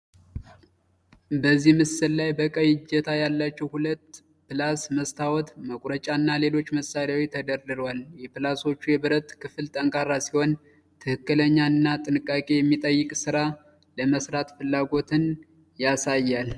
በዚህ ምስል ላይ በቀይ እጀታ ያላቸው ሁለት ፕላስ፣ መስታወት መቁረጫና ሌሎች መሳሪያዎች ተደርድረዋል። የፕላሶቹ የብረት ክፍል ጠንካራ ሲሆን፣ ትክክለኛ እና ጥንቃቄ የሚጠይቅ ሥራ ለመስራት ፍላጎትን ያሳያል።